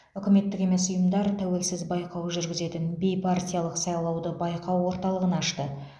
үкіметтік емес ұйымдар тәуелсіз байқау жүргізетін бейпартиялық сайлауды байқау орталығын ашты